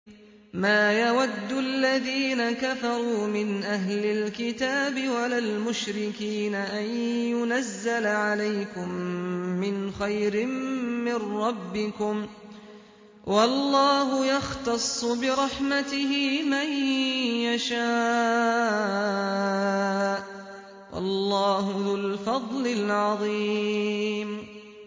مَّا يَوَدُّ الَّذِينَ كَفَرُوا مِنْ أَهْلِ الْكِتَابِ وَلَا الْمُشْرِكِينَ أَن يُنَزَّلَ عَلَيْكُم مِّنْ خَيْرٍ مِّن رَّبِّكُمْ ۗ وَاللَّهُ يَخْتَصُّ بِرَحْمَتِهِ مَن يَشَاءُ ۚ وَاللَّهُ ذُو الْفَضْلِ الْعَظِيمِ